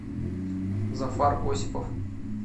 зафар осипов